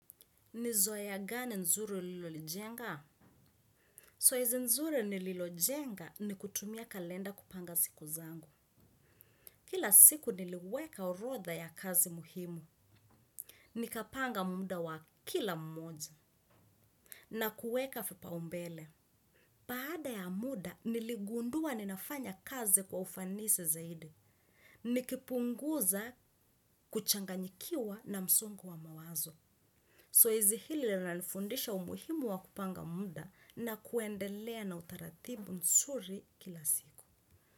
Ni zoea gani nzuri ulilojenga? Zoezi nzuri nililojenga ni kutumia kalenda kupanga siku zangu. Kila siku niliweka orodha ya kazi muhimu. Nikapanga muda wa kila mmoja na kuweka vipaumbele. Baada ya muda niligundua ninafanya kazi kwa ufanisi zaidi. Nikipunguza kuchanganyikiwa na msongo wa mawazo. Zoezi hili linanifundisha umuhimu wa kupanga muda na kuendelea na utaratibu nzuri kila siku.